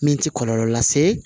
Min tɛ kɔlɔlɔ lase